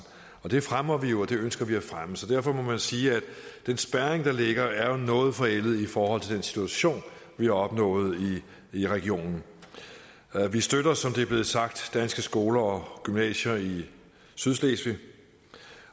det fremmer vi jo og det ønsker vi at fremme så derfor må man sige at den spærring der ligger jo er noget forældet i forhold til den situation vi har opnået i regionen vi støtter som det er blevet sagt danske skoler og gymnasier i sydslesvig